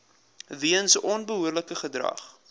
weens onbehoorlike gedrag